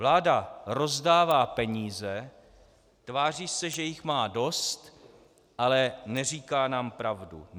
Vláda rozdává peníze, tváří se, že jich má dost, ale neříká nám pravdu.